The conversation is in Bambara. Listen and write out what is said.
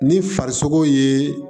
Ni farisogo ye